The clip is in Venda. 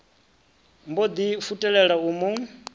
mbo ḓi futelela u mu